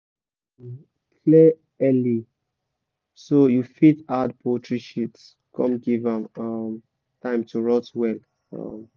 clear early so you fit add poultry sheet come give am time to rot well